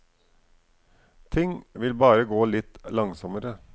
Ting vil bare gå litt langsommere.